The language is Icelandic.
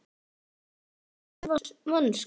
Skilur ekki sína eigin vonsku.